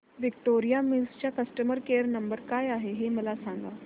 Victoria Mills चा customer care number काय आहे हे मला सांगा